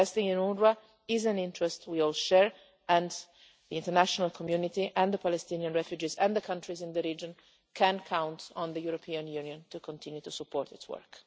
Investing in UNWRA is an interest we all share and the international community and the Palestinian refugees and the countries in the region can count on the European Union to continue to support its work.